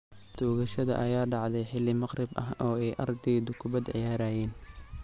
Toogashada ayaa dhacday xili maqrib ah oo ay ardaydu kubad ciyaarayeen.